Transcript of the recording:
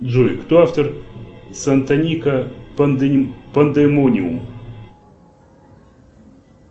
джой кто автор сантаника пандемониум